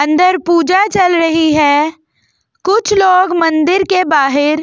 अंदर पूजा चल रही है कुछ लोग मंदिर के बाहर ।